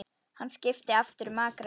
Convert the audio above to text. Hann skipti aftur um akrein.